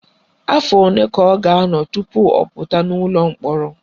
Afọ ole ka ọ ga-anọ tupu ọ pụta n'ụlọ mkpọrọ?